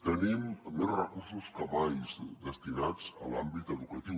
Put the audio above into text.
tenim més recursos que mai destinats a l’àmbit educatiu